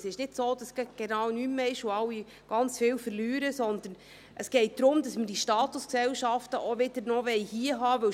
Es ist nicht so, dass genau nichts mehr ist und alle ganz viel verlieren, sondern es geht darum, dass wir die Statusgesellschaften noch hier haben wollen.